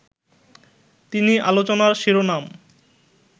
তিনি আলোচনার শিরোনাম